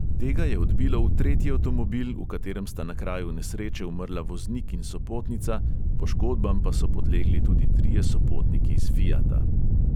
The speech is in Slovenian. Tega je odbilo v tretji avtomobil, v katerem sta na kraju nesreče umrla voznik in sopotnica, poškodbam pa so podlegli tudi trije sopotniki iz fiata.